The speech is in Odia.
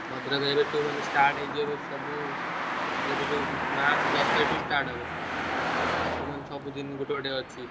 ଭଦ୍ରକ area ରେ start ହେଇଯିବ ଏବେ ସବୁ ମାର୍ଚ୍ଚ ଦଶ ତାରିଖ ଠୁ start ହବ ତାର ସବୁ ମାନେ ସବୁ ଦିନ ଗୋଟେ ଗୋଟେ ଅଛି।